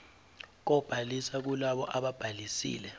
kobhaliso kulabo ababhalisile